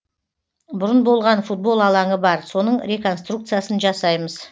бұрын болған футбол алаңы бар соның реконструкциясын жасаймыз